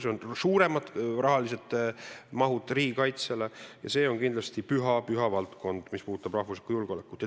See tähendab riigikaitsele mineva raha suuremat mahtu ja see on kindlasti püha valdkond, mis puudutab rahvuslikku julgeolekut.